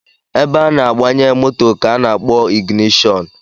Ebe a na-agbanye moto ka a na-akpọ ịgịnịshọnụ